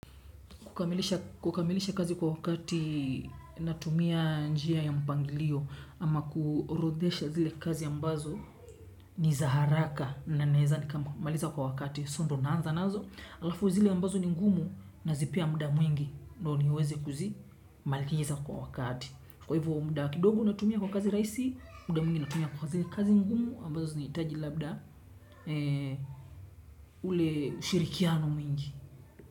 Kukamilisha kazi kwa wakati natumia njia ya mpangilio ama kuorodhesha zile kazi ambazo ni za haraka na naeza nikamaliza kwa wakati so ndo naanza nazo. Halafu zile ambazo ni ngumu nazipea muda mwingi ndo niweze kuzimaliza kwa wakati. Kwa hivo muda kidogo natumia kwa kazi rahisi, muda mwingi natumia kwa zile kazi ngumu ambazo zinahitaji labda ule ushirikiano mwingi.